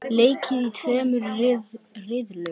Leikið í tveimur riðlum.